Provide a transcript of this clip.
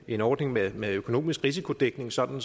en ordning med med økonomisk risikodækning sådan